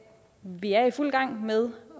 vi er i fuld gang med